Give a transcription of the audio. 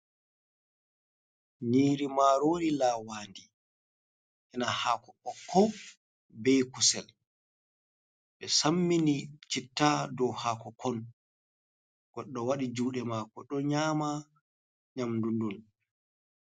Nyiri marori lawandi, ena hako ɓokko bei kusel, ɓe sammini citta dow hakokon, goɗɗo waɗi juɗe mako ɗo nyama nyamdundun.